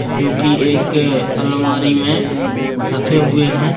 जोकि एक अलमारी में रखे हुए हैं